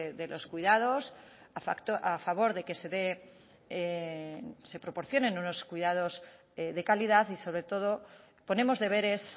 de los cuidados a favor de que se dé se proporcionen unos cuidados de calidad y sobre todo ponemos deberes